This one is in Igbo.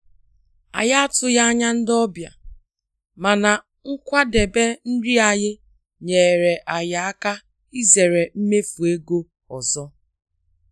Anyị atụghị anya ndị ọbịa, mana nkwadebe nri anyị nyeere anyị aka izere mmefu ego ọzọ.